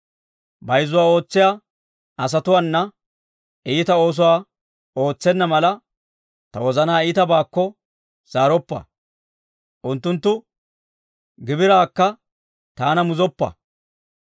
Bayzzuwaa ootsiyaa asatuwaanna, iita oosuwaa ootsenna mala, ta wozanaa iitabaakko zaaroppa. Unttunttu gibiraakka taana muzoppa.